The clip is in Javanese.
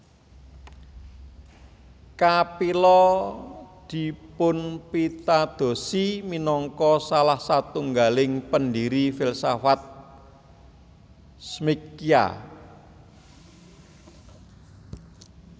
Kapila dipunpitadosi minangka salah satunggaling pendiri filsafat Smkhya